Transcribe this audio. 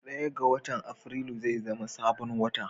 Daya ga watan afirilu zai zama sabon wata